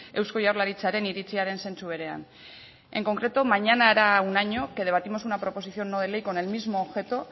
eusko jaurlaritzaren iritziaren zentzu berean en concreto mañana hará un año que debatimos una proposición no de ley con el mismo objeto